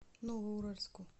новоуральску